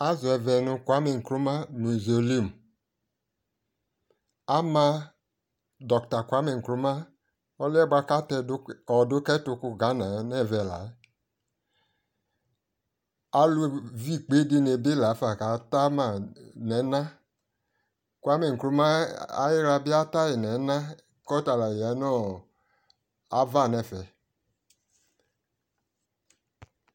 azɔ ɛvɛ no kwame nkrumah mausoleum ama doctor kwame nkrumah ɔliɛ boa ko atɛ ɔdo kɛto ka Ghana no ɛvɛ la yɛ, alo vi ikpe di ni bi la ko ata ma no ɛna kwame nkrumah ayi la bi ata yi no ɛna ko ɔta la ya nu ava no ɛfɛ